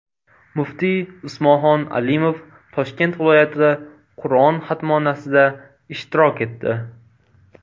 Muftiy Usmonxon Alimov Toshkent viloyatida Qur’on xatmonasida ishtirok etdi.